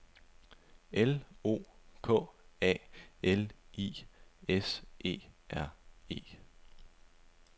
L O K A L I S E R E